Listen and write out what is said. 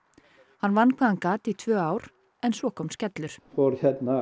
hann vann hvað hann gat í tvö ár en svo kom skellur þá fór